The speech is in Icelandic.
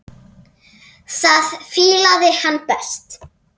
Það fílaði hann best.